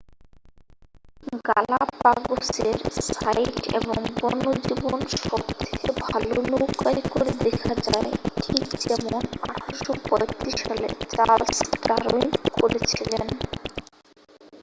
গালাপাগোসের site এবং বন্যজীবন সবথেকে ভালো নৌকায় করে দেখা যায় ঠিক যেমন 1835 সালে চার্লস ডারউইন করেছিলেন